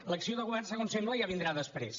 l’acció de govern segons sembla ja vindrà després